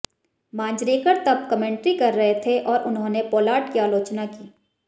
मांजरेकर तब कमेंट्री कर रहे थे और उन्होंने पोलार्ड की आलोचना की